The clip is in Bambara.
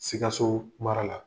Sikaso mara la